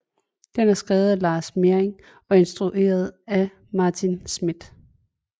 Den er skrevet af Lars Mering og instrueret af Martin Schmidt